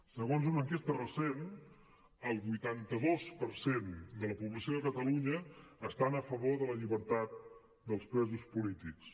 segons una enquesta recent el vuitanta dos per cent de la població de catalunya està a favor de la llibertat dels presos polítics